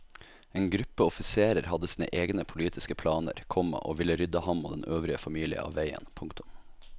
En gruppe offiserer hadde sine egne politiske planer, komma og ville rydde ham og den øvrige familie av veien. punktum